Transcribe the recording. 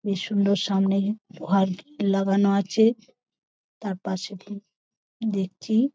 বেশ সুন্দর সামনে লাগানো আছে তার পাশে প দেখছি--